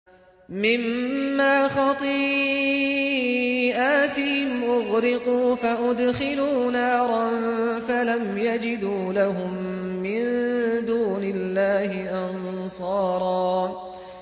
مِّمَّا خَطِيئَاتِهِمْ أُغْرِقُوا فَأُدْخِلُوا نَارًا فَلَمْ يَجِدُوا لَهُم مِّن دُونِ اللَّهِ أَنصَارًا